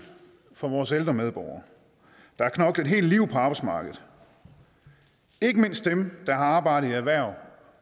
for vores ældre medborgere der har knoklet et helt liv på arbejdsmarkedet ikke mindst dem der har arbejdet i erhverv